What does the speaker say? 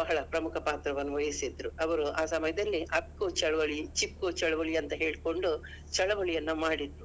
ಬಹಳ ಪ್ರಮುಖ ಪಾತ್ರವನ್ನು ವಹಿಸಿದ್ರು ಅವ್ರು ಆ ಸಮಯದಲ್ಲಿ ಅಪ್ಕೋ ಚಳುವಳಿ, ಚಿಪ್ಕೋ ಚಳುವಳಿ ಅಂತ ಹೇಳ್ಕೊಂಡು ಚಳುವಳಿಯನ್ನು ಮಾಡಿದ್ರು.